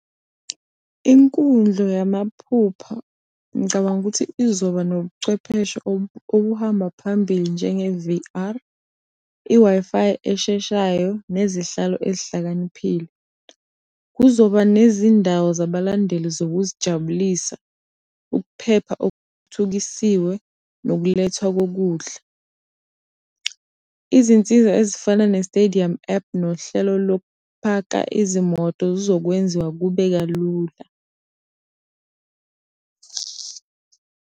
Inkundla yamaphupha ngicabanga ukuthi izoba nobuchwepheshe obuhamba phambili njenge V_R, i-Wi-Fi esheshayo nezihlalo ezihlakaniphile. Kuzoba nezindawo zabalandeli zokuzijabulisa, ukuphepha okuthuthukisiwe nokulethwa kokudla. Izinsiza ezifana ne-stadium app nohlelo lokupaka izimoto zizokwenziwa kube kalula.